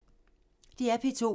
DR P2